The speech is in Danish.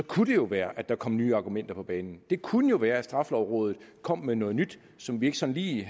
kunne det jo være at der kom nye argumenter på banen det kunne jo være at straffelovrådet kom med noget nyt som vi ikke sådan lige